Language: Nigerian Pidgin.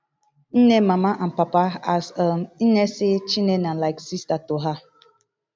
nne mama and papa as um nne say chinne na like sister to her